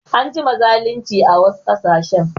An jima zalinci a wasu ƙasashen